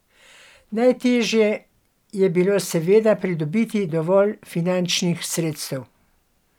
Najtežje je bilo seveda pridobiti dovolj finančnih sredstev.